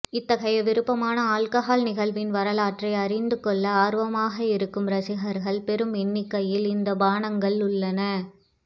இத்தகைய விருப்பமான ஆல்கஹால் நிகழ்வின் வரலாற்றை அறிந்து கொள்ள ஆர்வமாக இருக்கும் ரசிகர்கள் பெரும் எண்ணிக்கையில் இந்த பானங்கள் உள்ளன